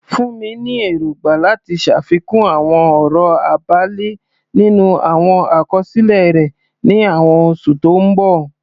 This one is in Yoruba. Funmi ní èrògbà láti ṣàfikún àwọn ọ̀rọ̀ abẹ́lẹ̀ nínú àwọn àkọsílẹ̀ rẹ̀ ní àwọn oṣù tó ń bọ̀.